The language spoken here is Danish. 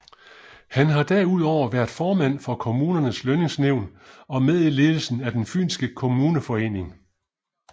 Han har derudover været formand for Kommunernes Lønningsnævn og med i ledelsen af den fynske kommuneforening